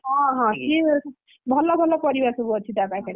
ହଁ ହଁ, ସିଏ ଭଲ ଭଲ ପରିବା ସବୁ ଅଛି ତା ପାଖରେ।